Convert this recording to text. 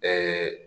Ɛɛ